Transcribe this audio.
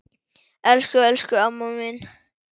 Elsku, elsku amma mín.